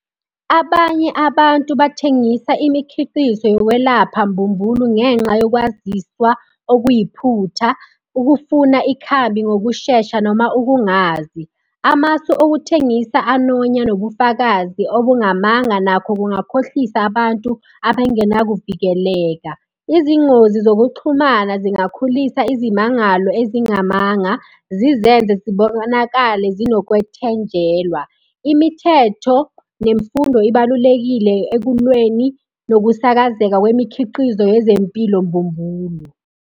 Abanye abantu bathengisa imikhiqizo yokwelapha mbumbulu, ngenxa yokwazisa okuyiphutha, ukufuna ikhambi ngokushesha noma ukungazi. Amasu okuthengisa anonya nobufakazi obungamanga nakho kungakhohlisa abantu abangenakuvikeleka. Izingozi zokuxhumana zingakhulisa izimangalo ezingamanga, zizenze zibonakale zinokwethenjelwa. Imithetho nemfundo ibalulekile ekulweni nokusakazeka kwemikhiqizo yezempilo mbumbulu.